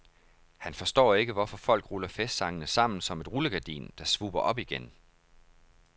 Han forstår ikke, hvorfor folk ruller festsangene sammen som et rullegardin, der svupper op igen.